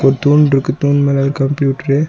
ஒரு தூண்ருக்கு தூண் மேல ஒரு கம்ப்யூட்ரு .